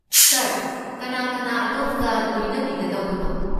ꯁꯥꯔ, ꯀꯅꯥ ꯀꯅꯥ ꯑꯗꯣꯝꯒ ꯂꯣꯏꯅꯕꯤꯒꯗꯧꯕꯅꯣ?